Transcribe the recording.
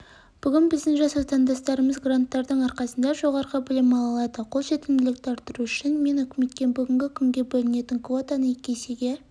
бігін біздің жас отандастырымыз гранттардың арқасында жоғарғы білім ала алады қол жетімділікті арттыру үшін мен үкіметке бүгінгі күнге бөлінетін квотаны екі есеге